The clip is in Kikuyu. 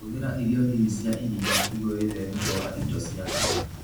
Hũthĩra irio nini cia iria nĩguo wĩtheme kwaga indo cia bata.